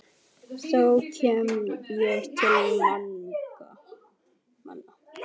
þá kem ég til manna.